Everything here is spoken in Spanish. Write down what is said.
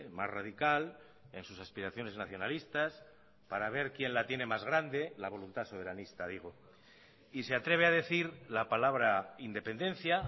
más radical en sus aspiraciones nacionalistas para ver quién la tiene más grande la voluntad soberanista digo y se atreve a decir la palabra independencia